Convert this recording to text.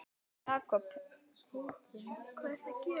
Einn þeirra var Jakob heitinn